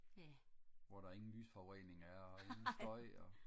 hvor der ingen lysforurening er og ingen støj og